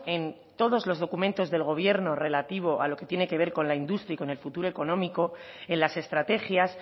en todos los documentos del gobierno relativo a lo que tiene que ver con la industria y con el futuro económico en las estrategias